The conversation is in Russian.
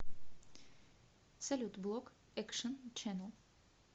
салют блок экшен ченнэл